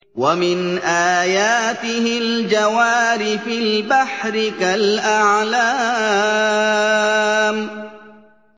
وَمِنْ آيَاتِهِ الْجَوَارِ فِي الْبَحْرِ كَالْأَعْلَامِ